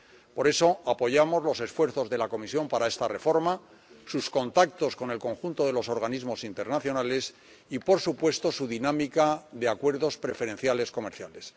Por eso, apoyamos los esfuerzos de la Comisión para esta reforma, sus contactos con el conjunto de los organismos internacionales y, por supuesto, su dinámica de acuerdos preferenciales comerciales.